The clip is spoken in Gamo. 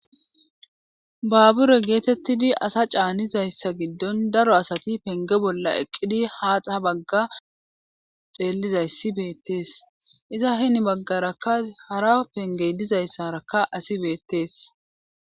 Babure geetettidi asa caanizayssa giddon daro asati penge bolla eqqidi haaxha bagga xeellizayssi beettees iza hini baggaraka hara pengey dizayssaraka asi beettees.